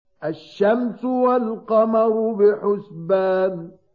الشَّمْسُ وَالْقَمَرُ بِحُسْبَانٍ